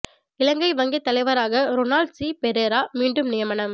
இலங்கை வங்கித் தலைவராக Ronald C Perera மீண்டும் நியமனம்